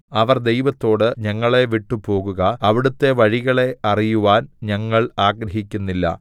അവർ ദൈവത്തോട് ഞങ്ങളെ വിട്ടുപോകുക അവിടുത്തെ വഴികളെ അറിയുവാൻ ഞങ്ങൾ ആഗ്രഹിക്കുന്നില്ല